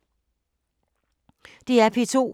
DR P2